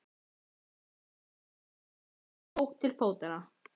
Maðurinn kipptist við og tók til fótanna.